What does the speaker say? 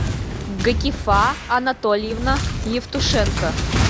гакифа анатольевна евтушенко